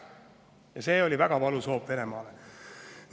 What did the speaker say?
Ja see oli väga valus hoop Venemaale.